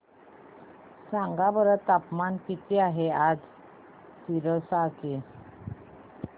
सांगा बरं तापमान किती आहे आज सिरसा चे